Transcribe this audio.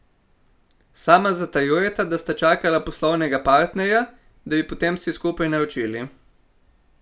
Sama zatrjujeta, da sta čakala poslovnega partnerja, da bi potem vsi skupaj naročili.